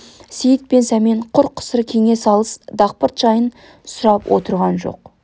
сейіт пен сәмен құр қысыр кеңес алыс дақпырт жайын сұрап отырған жоқ